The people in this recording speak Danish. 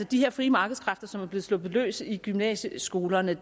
de frie markedeskræfter som er blevet sluppet løs i gymnasieskolerne